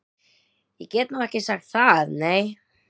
Ég get nú ekki sagt það, nei.